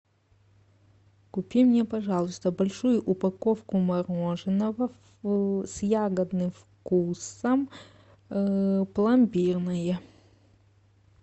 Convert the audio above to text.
купи мне пожалуйста большую упаковку мороженого с ягодным вкусом пломбирное